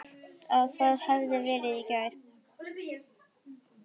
Ég hélt það hefði verið í gær.